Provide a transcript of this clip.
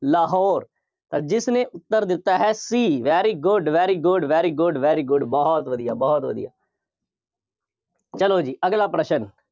ਲਾਹੌਰ, ਜਿਸ ਨੇ ਉੱਤਰ ਦਿੱਤਾ ਹੈ C, very good, very good, very good, very good ਬਹੁਤ ਵਧੀਆ, ਬਹੁਤ ਵਧੀਆ। ਚੱਲੋ ਜੀ ਅਗਲਾ ਪ੍ਰਸ਼ਨ।